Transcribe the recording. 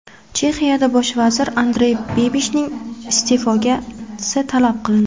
Chexiyada bosh vazir Andrey Babishning iste’fosi talab qilindi.